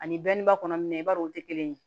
Ani dɔnniba kɔnɔ mina i b'a dɔn o te kelen ye